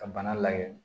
Ka bana lajɛ